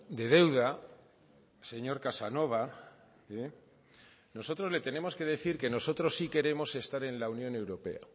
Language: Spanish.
de deuda señor casanova nosotros le tenemos que decir que nosotros sí queremos estar en la unión europea